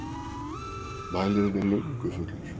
Mælirinn er löngu fullur.